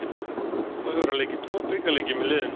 Þá hefur hann leikið tvo bikarleiki með liðinu.